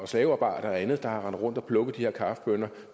slavearbejdere eller andre der har rendt rundt og plukket de her kaffebønner